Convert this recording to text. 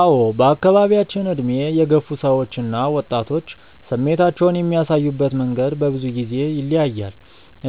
አዎ በአካባቢያችን ዕድሜ የገፉ ሰዎች እና ወጣቶች ስሜታቸውን የሚያሳዩበት መንገድ በብዙ ጊዜ ይለያያል።